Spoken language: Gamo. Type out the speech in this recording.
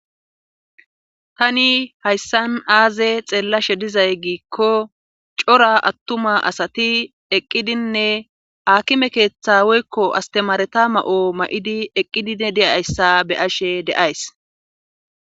Tani hayssan aaze xeellashe dizay giikko cora attuma asati eqqidinne akime keeththa woykko astemaareta ma7o ma7idi eqqidine deyayssa beyashe deays.